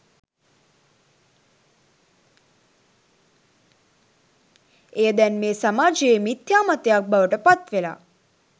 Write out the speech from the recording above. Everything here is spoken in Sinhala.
එය දැන් මේ සමාජයේ මිත්‍යා මතයක් බවට පත්වෙලා